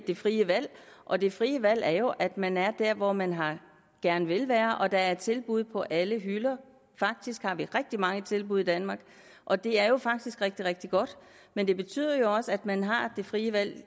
det frie valg og det frie valg er jo at man er der hvor man gerne vil være og at der er tilbud på alle hylder faktisk har vi rigtig mange tilbud i danmark og det er jo faktisk rigtig rigtig godt men det betyder også at man har det frie valg